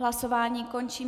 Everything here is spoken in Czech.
Hlasování končím.